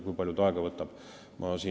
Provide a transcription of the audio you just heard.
Kui palju see aega võtab?